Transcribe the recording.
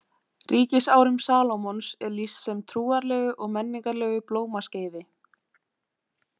Ríkisárum Salómons er lýst sem trúarlegu og menningarlegu blómaskeiði.